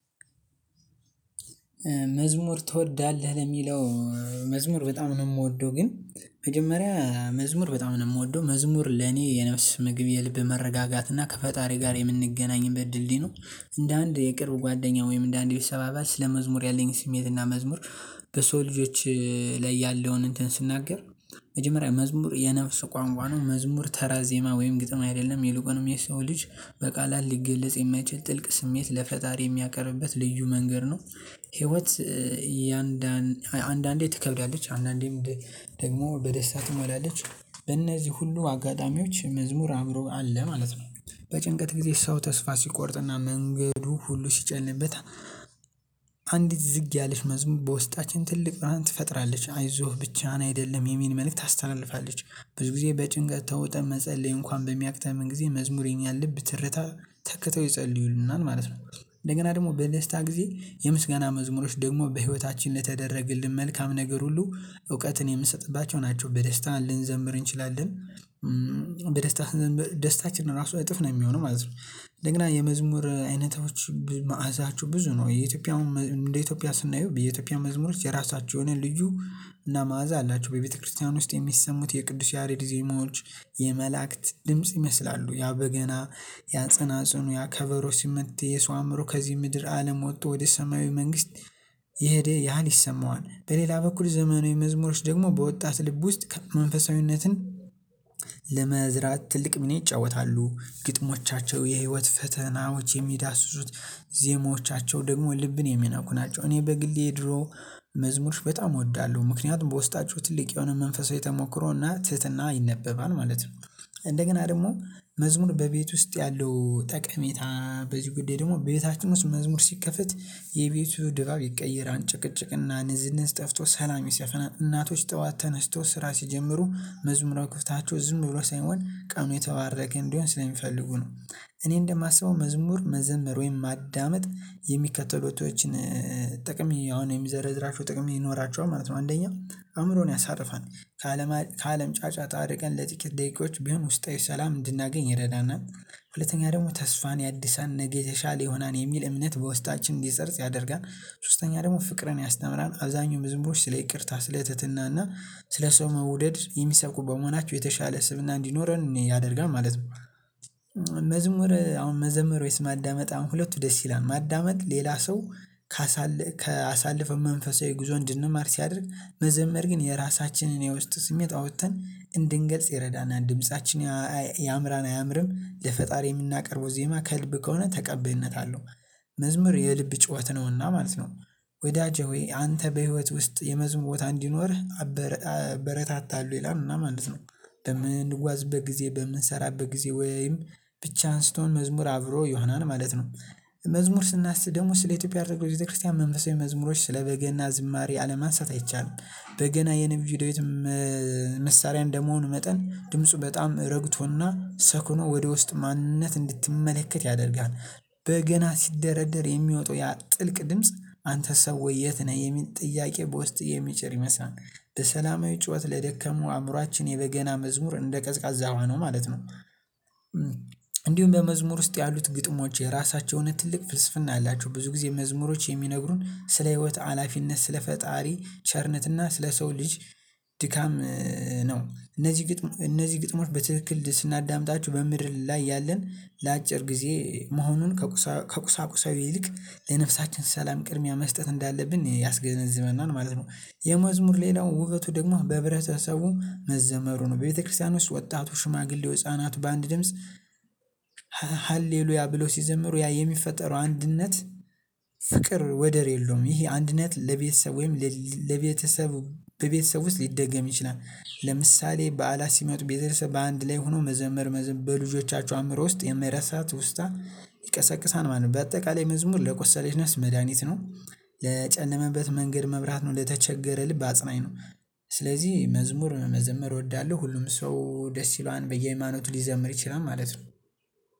መዝሙር ትወዳለህ ለሚለው? መዝሙር በጣም ነው የምወደው ግን መጀመሪያ መዝሙር በጣም ነው የምወደው መዝሙር ለኔ የነፍስ ምግብ የልብ መረጋጋት እና ከፈጣሪ ጋር የምንገናኝበት ድልድል ነው። እንደ አንድ የቅርብ ጓደኛ ወይም እንደ አንድ ቤተሰብ አባባል ስለመዝሙር ያለኝ ስሜትና መዝሙር በሰው ልጆች ላይ ያለውን እንትን ስናገር መጀመሪያ መዝሙር የነፍስ ቋንቋ ነው። መዝሙር ተራ ዜማ ወይም ግጥም አይደለም የሉቀንም የሰው ልጅ በቃላት ሊገለጽ የማይችል ጥልቅ ስሜት ለፈጣሪ የሚያቀርብበት ልዩ መንገድ ነው። ህይወት አንዳንዴ ትከብዳለች አንዳንዴም ደግሞ በደስታ ትመላለች በእነዚህ ሁሉ አጋጣሚዎች መዝሙር አእምሮ አለ ማለት ነው። በጭንቀት ጊዜ ሰው ተስፋ ሲቆርጥና መንገዱ ሁሉ ሲጨልምበት አንዲት ዝግ ያለች መዝሙር በውስጣችን ትልቅ ብርሃን ትፈጥራለች አይዞህ ብቻህን አይደለም የሚል መልእክት ታስተላልፋለች። ብዙ ጊዜ በጭንቀት ተውጠህ መጸለይ እንኳን በሚያቅተህ ምን ጊዜ መዝሙር ያለብህ ትርታ ተከተው ይጸልዩልናል ማለት ነው። እንደገና ደግሞ በደስታ ጊዜ የምስጋና መዝሙሮች ደግሞ በህይወታችን ለተደረግልን መልካም ነገር ሁሉ እውቀትን የምንሰጥባቸው ናቸው። በደስታ ልንዘምር እንችላለን በደስታ ስንዘምር ደስታችን ራሱ እጥፍ ነው የሚሆነው ማለት ነው። ደግሞ የመዝሙር አይነቶች መዓዛቸው ብዙ ነው። እንደ ኢትዮጵያ ስናየው በኢትዮጵያ መዝሙር የራሳቸውን የሆነ ልዩ እና መዓዛ አላቸው በቤተክርስቲያን ውስጥ የሚሰሙት የቅዱስ ያሬድ ዜማዎች የመላእክት ድምጽ ይመስላሉ። ያ በገና ያጸናጸኑ ያ ከበሮ ሲመታ የሰው አእምሮ ከዚህ ምድር አለም ወጥቶ ወደ ሰማያዊ መንግስት የሄደ ያህል ይሰማዋል። በሌላ በኩል ዘመናዊ መዝሙሮች ደግሞ በወጣት ልብ ውስጥ መንፈሳዊነትን ለመዝራት ትልቅ ሚና ይጫወታሉ። ግጥሞቻቸው የህይወት ፈተናዎች የሚዳስሱት ዜሞቻቸው ደግሞ ልብን የሚነኩ ናቸው። እኔ በግሌ ድሮ መዝሙሮች በጣም እወዳለሁ ምክንያቱም በውስጣቸው ትልቅ የሆነ መንፈሳዊ ተሞክሮና ትህትና ይነበባል ማለት ነው። እንደገና ደግሞ መዝሙር በቤት ውስጥ ያለው ጠቀሜታ በዚህ ጉዳይ ደግሞ ቤታችን ውስጥ መዝሙር ሲከፈት የቤቱ ድባብ ይቀየራል። ጭቅጭቅና ንዝንዝ ጠፍቶ ሰላም የሰፈና እናቶች ጠዋት ተነስቶ ስራ ሲጀምሩ መዝሙርው የሚከፍቱት ዝም ብሎ ሳይሆን ቀኑ የተባረከ እንዲሆን ስለሚፈልጉ ነው። እኔ እንደማስበው መዝሙር መዘምር ወይም ማዳመጥ የሚከተሉተቶችን ጥቅም አሁን የሚዘረዝራቸው ጥቅም ይኖራቸዋል ማለት ነው። አንደኛው አእምሮን ያሳርፋል ከአለም ጫጫ ታርቀን ለጥቂት ደቂቃዎች ቢሆን ውስጣዊ ሰላም እንድናገኝ ይረዳናል። ሁለተኛ ደግሞ ተስፋን ያድሳል ነገ የተሻለ የሆናን የሚል እምነት በውስጣችን እንዲሰርጽ ያደርጋል። ሶስተኛ ደግሞ ፍቅርን ያስተምራል አብዛኛው መዝሙሮች ስለ ይቅርታ ስለ ትህትናና ስለ ሰው መውደድ የሚሰብኩ በመሆናቸው የተሻለ ስብዕና እንዲኖረን ያደርጋል ማለት ነው። መዝሙር አሁን መዘምር ወይስ? ማዳመጥ አሁን ሁለቱ ደስ ይላል ማዳመጥ ሌላ ሰው ከአሳለፈንው መንፈሳዊ ጉዞ እንድንማር ሲያደርግ መዘመር ግን የራሳችንን የውስጥ ስሜት አውጥተን እንድንገልጽ ይረዳናል። ድምፃችን ያምራል አያምርም የፈጣሪ የምናቀርበው ዜማ ከልብ ከሆነ ተቀባይነት አለው። መዝሙር የልብ ጩኸት ነውና ማለት ነው። ወዳጄ ሆይ አንተ በህይወት ውስጥ የመዝሙር ቦታ እንዲኖርህ አበረታታለሁ ይላልና ማለት ነው። በምንጓዝ በጊዜ በምንሰራ በጊዜ ወይም ብቻ አንስቶን መዝሙር አብሮ ይሆናል ማለት ነው። መዝሙር ስናስብ ደግሞ ስለ ኢትዮጵያ አድርገው የቤተክርስቲያን መንፈሳዊ መዝሙሮች ስለ በገና ዝማሬ አለማንሳት አይቻልም። በገና የነቢዩ ዳዊትም መሳሪያ እንደመሆኑ መጠን ድምፁ በጣም ረግቶና ሰክኖ ወደ ውስጥ ማንነት እንድትመለከት ያደርግሃል። በገና ሲደረደር የሚወጣው ያ ጥልቅ ድምጽ አንተ ሰው የት? ነህ የሚል ጥያቄ በውስጥህ የሚጪር ይመስላል። በሰላማዊ ጩኸት ለደከሙ አእምሮአችን የበገና መዝሙር እንደ ቀዝቃዛ ውሃ ነው ማለት ነው። እንዲሁም በመዝሙር ውስጥ ያሉት ግጥሞች የራሳቸውን ትልቅ ፍልስፍና አላቸው። ብዙ ጊዜ መዝሙሮች የሚነግሩን ስለ ህይወት አላፊነት ስለ ፈጣሪ ቸርነትና ስለ ሰው ልጅ ድካም ነው። እነዚህ ግጥሞች በትክክል ስናዳምጣቸው በምድር ላይ እያለን ላጪር ጊዜ መሆኑን ከቁሳ ከቁሳቁሳውይ ይልቅ ለነፍሳችን ሰላም ቅድሚያ መስጠት እንዳለብን ያስገነዝበናል ማለት ነው። የመዝሙር ሌላው ውበቱ ደግሞ በህብረተሰቡ መዘመሩ ነው። ቤተክርስቲያን ውስጥ ወጣቱ ሽማግሌው ህፃናት በአንድ ድምጽ ሃሌሉያ ብለው ሲዘመሩ ያ የሚፈጠረው አንድነት። ፍቅር ወደር የለውም። ይሄ አንድነት ለቤተሰብ ወይም ለቤተሰብ በቤተሰብ ውስጥ ሊደገም ይችላል። ለምሳሌ በዓላት ሲመጡ ቤተሰብ በአንድ ላይ ሆኖ መዘመር በልጆቻቸው አእምሮ ውስጥ የማይረሳ ትውስታ ይቀሰቅሳል ማለት ነው። በአጠቃላይ መዝሙር ለቆሰለች ነስ መድሃኒት ነው። ለጨለመበ መንገድ መብራት ነው። ለተቸገረ ልብ አጽናኝ ነው። ስለዚህ መዝሙር መዘመር እወዳለሁ። ሁሉም ሰው ደስ ይለዋል በየሃይማኖቱ ሊዘምር ይችላል ማለት ነው።